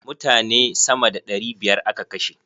Mutane sama da ɗari biyar a ka kashe.